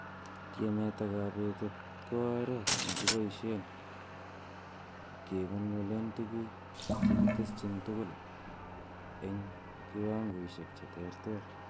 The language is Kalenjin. Tiemet ak kobetet ko oret nekiboishen kengolgolen tuguk che kiteshin tugul en kiwangoisiek che terter.